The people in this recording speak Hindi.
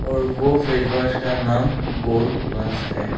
और वो फेस वॉश का नाम गोल्ड प्लस है।